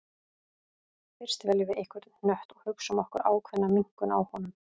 Fyrst veljum við einhvern hnött og hugsum okkur ákveðna minnkun á honum.